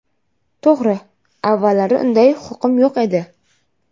To‘g‘ri, avvallari unday huquqim yo‘q edi.